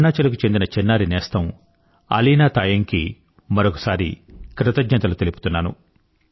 అరుణాచల్ కు చెందిన చిన్నారి నేస్తం అలీనా తాయంగ్ కి కృతజ్ఞతలు తెలుపుతున్నాను